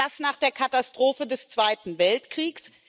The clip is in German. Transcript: Und das nach der Katastrophe des Zweiten Weltkriegs?